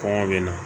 Kɔngɔ bɛ na